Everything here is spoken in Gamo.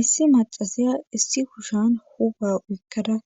issi macasiya issi kushshan huphaa uykkada